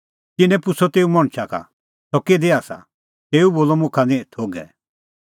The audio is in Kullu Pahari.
तिन्नैं पुछ़अ तेऊ मणछा का सह किधी आसा तेऊ बोलअ मुखा निं थोघै